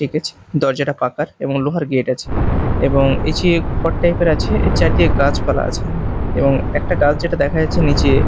একেচ দরজাটা কাকার এবং লোহার গেট আছে এবং এইযে ঘর টাইপ -এর আছে এর চারদিকে গাছপালা আছে এবং একটা গাছ যেটা দেখা যাচ্ছে নীচে--